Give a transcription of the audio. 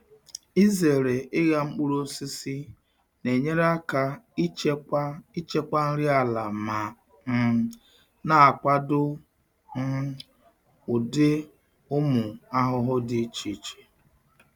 Izere ịgha mkpụrụ osisi na-enyere aka ichekwa ichekwa nri ala ma um na-akwado um ụdị ụmụ ahụhụ dị iche iche.